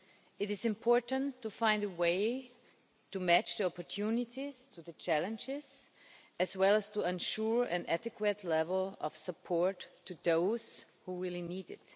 It is important to find a way to match the opportunities to the challenges, as well as to ensure an adequate level of support for those who really need it.